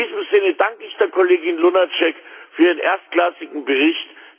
In diesem Sinne danke ich der Kollegin Lunacek für ihren erstklassigen Bericht.